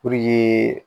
Puruke